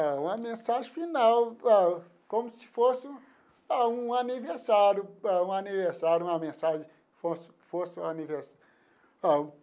Uma mensagem final, ah como se fosse ah um aniversário ah um aniversário, uma mensagem como se fosse um.